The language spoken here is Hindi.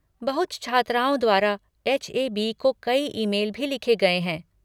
बहुत छात्राओं द्वारा एच.ए.बी. को कई ईमेल भी लिखे गए हैं।